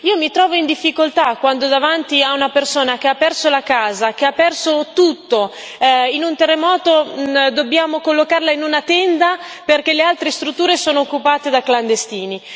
Io mi trovo in difficoltà quando, davanti a una persona che ha perso la casa, che ha perso tutto in un terremoto, dobbiamo collocarla in una tenda, perché le altre strutture sono occupate da clandestini.